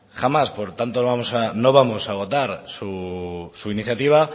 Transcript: jamás por tanto no vamos a votar su iniciativa